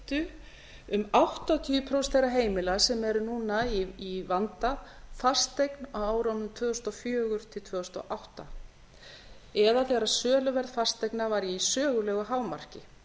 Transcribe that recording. keyptu um áttatíu prósent þeirra heimila sem eru núna í vanda fasteign á árunum tvö þúsund og fjögur til tvö þúsund og átta eða þegar söluverð fasteigna var í sögulegu hámarki